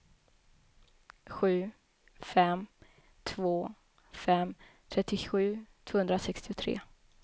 sju fem två fem trettiosju tvåhundrasextiotre